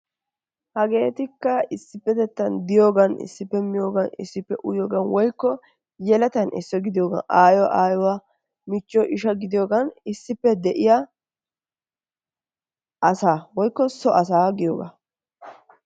Hagettikkaa issipettetan de'iyogan issipettettan miyogan, issippe uyigaan woykko yelettan isuwaa gidiyogaa ayiyoo woyko awaa, michoo, ishsha gidiyogan issippe de'iyaa asaa woykko so asaa giyogaa.